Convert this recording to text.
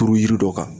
Turu yiri dɔ kan